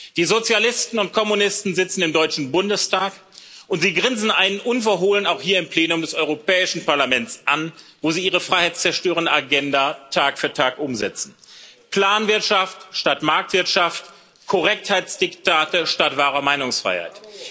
Die Sozialisten und Kommunisten sitzen im Deutschen Bundestag, und sie grinsen einen unverhohlen auch hier im Plenum des Europäischen Parlaments an, wo sie ihre freiheitszerstörende Agenda Tag für Tag umsetzen Planwirtschaft statt Marktwirtschaft, Korrektheitsdiktate statt wahrer Meinungsfreiheit.